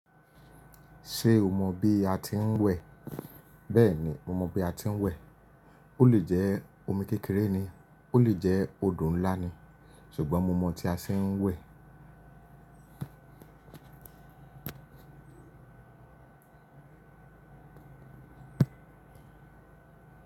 Ṣé o mọ bí a ti ń wẹ̀? Bẹ́ẹ̀ni mo mọ bí a ti ń wẹ̀. Ó lè jẹ́ omi kékeré ni, ó lè jẹ́ odò ńlá ni, ṣùgbọ́n mo mọ̀ tí a ṣe ń wẹ̀.